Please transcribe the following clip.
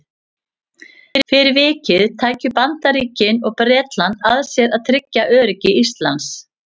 Fyrir vikið tækju Bandaríkin og Bretland að sér að tryggja öryggi Íslands.